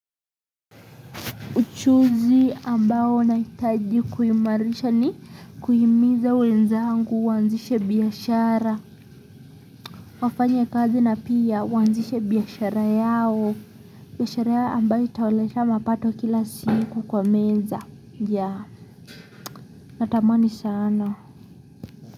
Uchuzi ambao na hitaji kuimarisha ni kuhimiza wenzaangu waanzishe biashara wafanye kazi na pia waanzishe biashara yao. Biashara yao ambayo itawaletea mapato kila siku kwa meza yaa. Natamani sana.